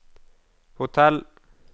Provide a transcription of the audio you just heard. hotell